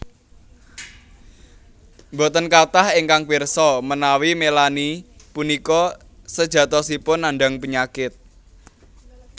Boten kathah ingkang pirsa menawi Melanie punika sejatosipun nandhang penyakit